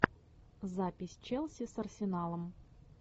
запись челси с арсеналом